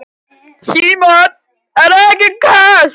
Símon: Það er ekkert kalt?